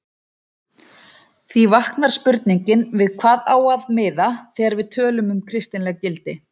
Því vaknar spurningin við hvað á að miða þegar við tölum um kristileg gildi?